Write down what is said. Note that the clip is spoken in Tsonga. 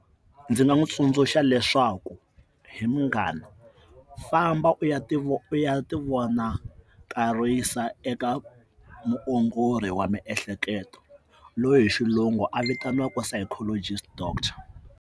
Ndzi nga n'wi tsundzuxa leswaku he munghana famba u ya ti vo u ya ti vonakarisa ka muongori wa miehleketo loyi hi xilungu a vitaniwaka psychologist doctor.